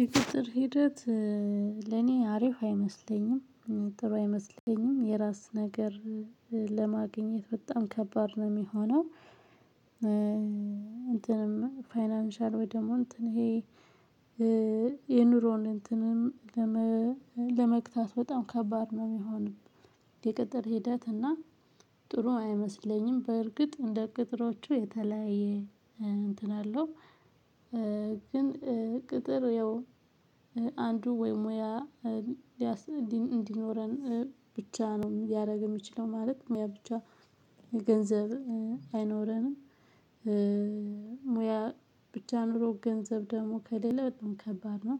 የቅጥር ሂደት ለኔ አሪፍ አይመስለኝም ጥሩ አይመስለኝም የራስ ነገር ለማግኘት በጣም ከባድ ነው የሚሆነው። እንትንም ፋይናንሻል ወይ ደግሞ እንትን ይሄ የኑሮን እንትንም ለመግታት በጣም ከባድ ነው የሚሆነው። የቅጥር ሂደት እና ጥሩ አይመስለኝም በእርግጥ እንደ ቅጥሮቹ የተለያየ እንትን አለው። ግን ቅጥር አንዱ ወይ ሙያ እንዲኖረን ብቻ ነው ሊያረግ የሚችለው ማለት ሙያ ብቻ ገንዘብ አይኖረንም። ሙያ ብቻ ኑሮ ገንዘብ ደግሞ ከሌለ በጣም ከባድ ነው።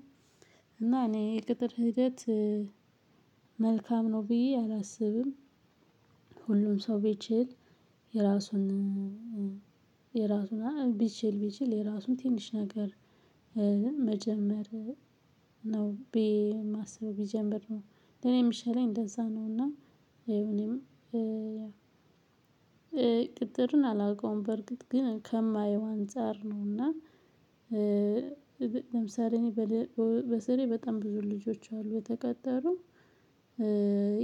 እና እኔ የቅጥር ሂደት መልካም ነው ብዬ አላስብም። ሁሉም ሰው ቢችል የራሱን ቢችል ቢችል የራሱን ትንሽ ነገር መጀመር ነው ብዬ ማስበው ቢጀምር ነው። ለእኔ የምሸለኝ እንደዛ ነው። እና እኔም ቅጥርን አላዉቀውም በርግጥ ግን ከማየው አንፃር ነው እና። ለምሳሌ በዛ ላይ በጣም ብዙ ልጆች አሉ የተቀጠሩ።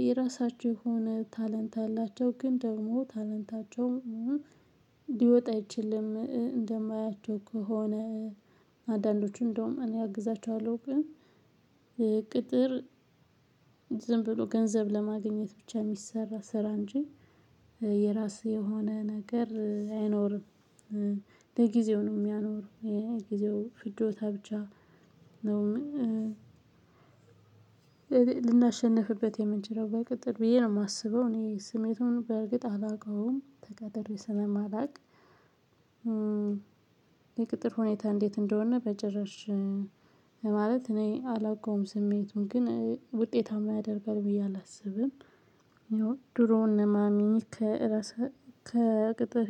የራሳቸው የሆነ ታሌንት አላቸው ግን ደግሞ ታሌንታቸውም ልወጣ አይችልም እንደማያቸው ከሆነ። አዳንዶቹ እንደውም እኔ አግዛችኋለሁ ግን ቅጥር ዝም ብሎ ገንዘብ ለማግኘት ብቻ የሚሰራ ስራ እንጂ የራስህ የሆነ ነገር አይኖርም። ለጊዜው ነው የሚያኖረው የጊዜው ፍጆት ብቻ ነው። ልናሸንፍበት የምንችለው በቅጥር ብዬ ነው የማስበው እኔ ስሜቱን በእርግጥ አላውቀውም ተቀጥሬ ስለማላቅ። የቅጥር ሁኔታ እንዴት እንደሆነ በጭራሽ? ማለት እኔ አላውቀውም ስሜቱን ግን ውጤታማ ያደርጋል ብዬ አላስብም። ድሮን የማሚ ከራስ ከቅጥር